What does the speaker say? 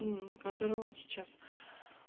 которую он сейчас